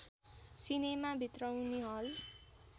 cinema भित्राउने हल